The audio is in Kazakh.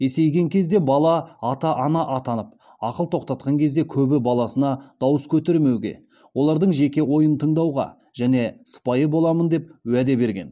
есейген кезде бала ата ана атанып ақыл тоқтатқан кезде көбі баласына дауыс көтермеуге олардың жеке ойын тыңдауға және сыпайы боламын деп уәде берген